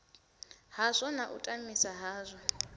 hazwo na u tamisa hazwo